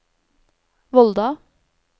Volda